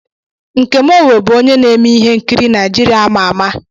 Nkem Owoh bụ onye na-eme ihe nkiri Naijiria ama ama.